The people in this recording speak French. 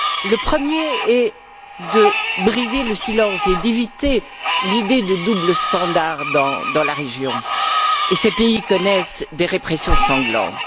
Le premier est de briser le silence et d'éviter l'idée de double standard dans la région, et ces pays connaissent des répressions sanglantes.